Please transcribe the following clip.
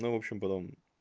ну в общем потом